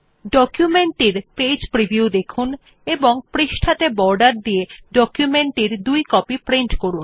document টির page preview দেখুন এবং পৃষ্ঠাত়ে বর্ডার দিয়ে ডকুমেন্ট টি দুই কপি প্রিন্ট করুন